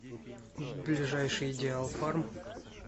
ближайший диалфарм